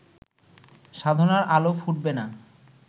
সাধনার আলো ফুটবে না